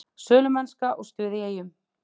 Sölumennska og stuð í Eyjum